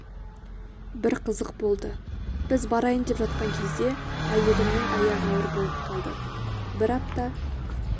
бір қызық болды біз барайын деп жатқан кезде әйелімнің аяғы ауыр болып қалды бір апта